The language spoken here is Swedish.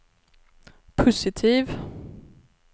positiv